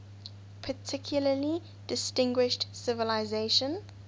particularly distinguished civilization